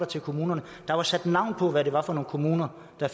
til kommunerne der var sat navn på hvad det var for nogle kommuner der